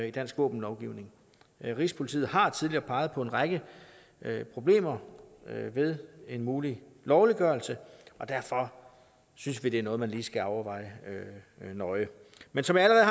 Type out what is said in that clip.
i dansk våbenlovgivning rigspolitiet har tidligere peget på en række problemer ved en mulig lovliggørelse derfor synes vi det er noget man lige skal overveje nøje men som jeg